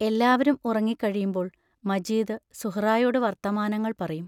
എല്ലാവരും ഉറങ്ങിക്കഴിയുമ്പോൾ മജീദ് സുഹ്റായോടു വർത്തമാനങ്ങൾ പറയും.